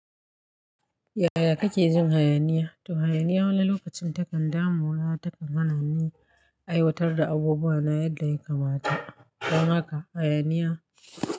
Yaya kake jin hayaniya? To hayaniya wani lokacin takan damuna, takan hana ni aiwatar da abubuwa na yadda yakamata. Don haka hayaniya.